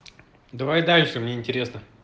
давай дальше мне интересно